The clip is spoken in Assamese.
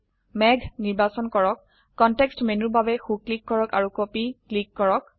মেঘ নিৰ্বাচন কৰক কনটেক্সট মেনুৰ বাবে সো ক্লিক কৰক আৰু কপি ক্লিক কৰক